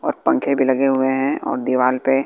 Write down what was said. और पंखे भी लगे हुए हैं और दीवाल पे--